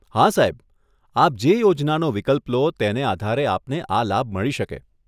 હા સાહેબ, આપ જે યોજનાનો વિકલ્પ લો, તેને આધારે આપને આ લાભ મળી શકે.